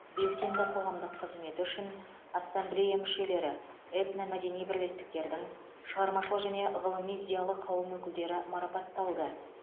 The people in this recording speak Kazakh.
белсенді қоғамдық қызметі үшін ассамблея мүшелері этномәдени бірлестіктердің шығармашыл және ғылыми зиялы қауым өкілдері марапатталды